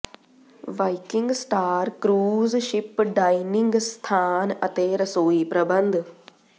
Viking Star cruise ship dining ਸਥਾਨ ਅਤੇ ਰਸੋਈ ਪ੍ਰਬੰਧ